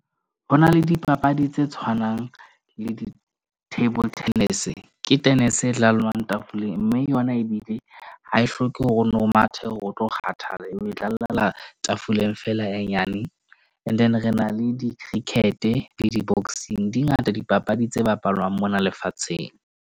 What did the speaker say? Ho na le dipapadi tse tshwanang le table tennis. Ke tenese e laolwang tafoleng, mme yona ebile ha e hloke hore o no mathe hore o tlo kgathala, e tlalla tafoleng feela, e nyane. And then re na le di-cricket-e le di-boxing, di ngata dipapadi tse bapalwang mona lefatsheng.